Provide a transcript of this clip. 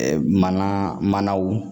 Ɛɛ mana manaw